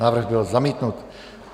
Návrh byl zamítnut.